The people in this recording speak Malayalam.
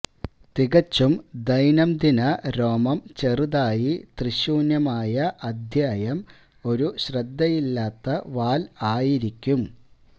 തികച്ചും ദൈനംദിന രോമം ചെറുതായി ത്രിശൂന്യമായ അദ്യായം ഒരു ശ്രദ്ധയില്ലാത്ത വാൽ ആയിരിക്കും